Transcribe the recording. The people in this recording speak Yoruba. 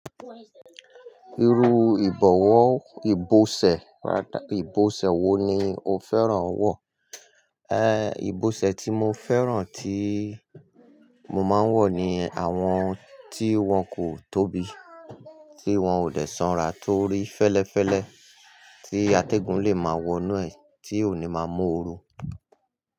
Irú ìbọ̀wọ̀ ìbọ̀sẹ̀, ìbọ̀sẹ̀ wo ni o fẹ́ràn wọ̀? Eh, ìbọ̀sẹ̀ tí mo fẹ́ràn tí mo máa ń wọ̀ ni àwọn tí wọ́n kò tóbi, tí wọ́n ò dè sanra torí fẹ́lẹ́fẹ́lẹ́, tí atẹ́gùn lè máa wọnú ẹ̀, tí ò ní máa mú oru.